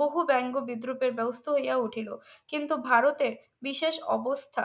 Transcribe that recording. বহু ব্যঙ্গ বিদ্রুপ এর ব্যবস্থা হইয়া উঠিলো কিন্তু ভারতের বিশেষ অবস্থা